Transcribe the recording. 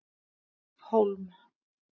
Hólm